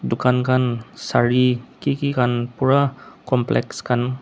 dukan khan sare kiki khan pura complex khan.